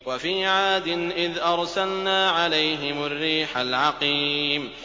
وَفِي عَادٍ إِذْ أَرْسَلْنَا عَلَيْهِمُ الرِّيحَ الْعَقِيمَ